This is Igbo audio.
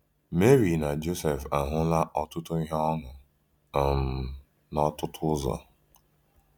Meri na Jọsef ahụla ọtụtụ ihe ọnụ um n’ọtụtụ ụzọ!